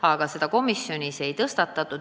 Aga komisjonis seda teemat ei tõstatatud.